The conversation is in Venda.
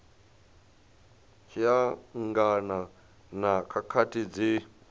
tshi angana na khakhathi dzi